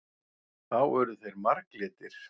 Þá urðu þeir marglitir.